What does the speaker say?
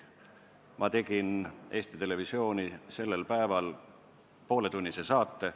Ma tegin Eesti Televisiooni sellel päeval pooletunnise saate.